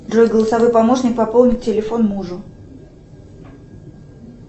джой голосовой помощник пополнить телефон мужу